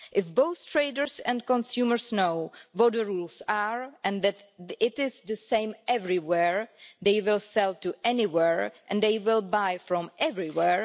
If both traders and consumers know what the rules are and that it is the same everywhere, they will sell to anywhere and they will buy from everywhere.